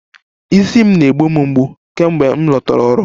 Isi m na-egbu m mgbu kemgbe m lọtara ọrụ